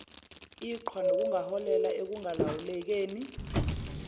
iqhwa nokungaholela ekungalawulekeni